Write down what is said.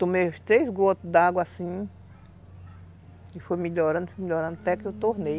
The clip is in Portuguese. Tomei os três gotos d'água assim, e foi melhorando, melhorando, até que eu tornei.